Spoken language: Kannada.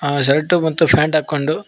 ಅ ಶರ್ಟು ಮತ್ತು ಪ್ಯಾಂಟ್ ಹಾಕೊಂಡು--